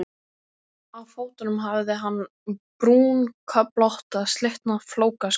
Á fótunum hafði hann brúnköflótta slitna flókaskó.